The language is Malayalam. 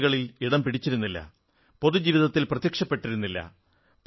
വാർത്തകളിൽ ഇടം പിടിച്ചിരുന്നില്ല പൊതുജീവിതത്തിൽ പ്രത്യക്ഷപ്പെട്ടിരുന്നില്ല